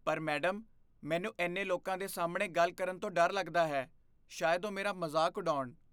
ਪਰ ਮੈਡਮ, ਮੈਨੂੰ ਇੰਨੇ ਲੋਕਾਂ ਦੇ ਸਾਹਮਣੇ ਗੱਲ ਕਰਨ ਤੋਂ ਡਰ ਲੱਗਦਾ ਹੈ। ਸ਼ਾਇਦ ਉਹ ਮੇਰਾ ਮਜ਼ਾਕ ਉਡਾਉਣ।